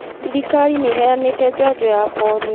Thirikari nĩ ĩheanĩte njanjo ya polio.